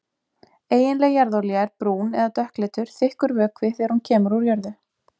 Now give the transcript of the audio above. Eiginleg jarðolía er brún- eða dökkleitur, þykkur vökvi þegar hún kemur úr jörðu.